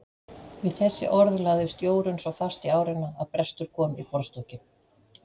Við þessi orð lagðist Jórunn svo fast í árina að brestur kom í borðstokkinn.